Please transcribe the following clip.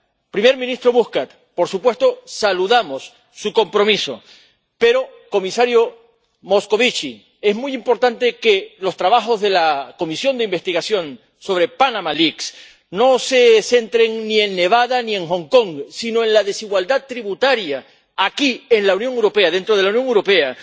Primer ministro Muscat por supuesto, saludamos su compromiso. Pero, comisario Moscovici es muy importante que los trabajos de la Comisión de Investigación sobre Blanqueo de Capitales y Elusión y Evasión Fiscales no se centren ni en Nevada ni en Hong Kong, sino en la desigualdad tributaria aquí, en la Unión Europea, dentro de la Unión Europea.